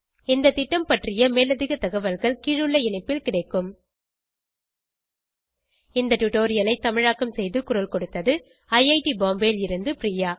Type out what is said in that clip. இந்த திட்டம் பற்றிய மேலதிக தகவல்கள் கீழுள்ள இணைப்பில் கிடைக்கும் இந்த டுடோரியலை தமிழாக்கம் செய்து குரல் கொடுத்தது ஐஐடி பாம்பேவில் இருந்து பிரியா